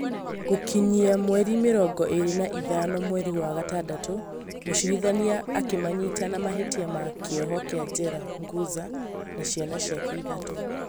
Gũgĩkinyia mweri mĩrongo ĩrĩ na ithano mweri wa gatandatũ mũcirithania akĩmanyita na mahĩtia na kĩoho kĩa jela Nguza na ciana ciake ithatũ